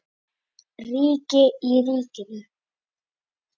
Ríki í ríkinu?